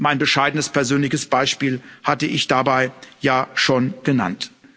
Mein bescheidenes persönliches Beispiel hatte ich dabei ja schon genannt.